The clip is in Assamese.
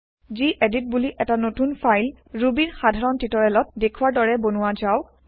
গেদিত বুলি এটা নতুন ফাইল ৰুবিৰ সাধাৰণ টিওটেৰিয়েলত দেখুৱাৰ দৰে বনোৱা যাওক